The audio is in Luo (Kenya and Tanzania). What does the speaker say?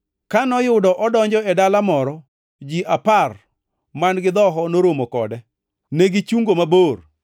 Ka noyudo odonjo e dala moro, ji apar man-gi dhoho noromo kode. Negichungo mabor